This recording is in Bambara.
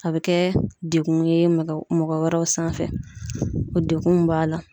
A be kɛ dekun ye mɔgɔ wɛrɛw sanfɛ. O dekun mun b'a la